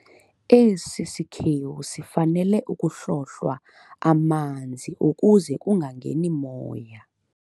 Esi sikhewu sifanele ukuhlohlwa amanzi ukuze kungangeni moya.